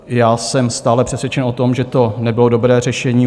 Já jsem stále přesvědčen o tom, že to nebylo dobré řešení.